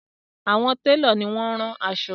Àwọn telo ní wón ron aṣọ.